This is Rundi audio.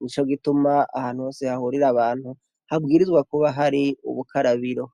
ni co gituma ah nose hahurira abantu habwirizwa kuba hari ubukarabiro.